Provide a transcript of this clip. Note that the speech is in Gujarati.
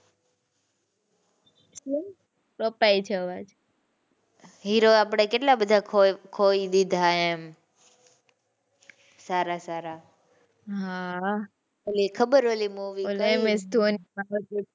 કપાય છે અવાજ. hero આપડે કેટલા બધા ખો ખોઈ દીધા એમ સારા સારા. હાં હાં ઓલી ખબર ઓલી movie ms dhoni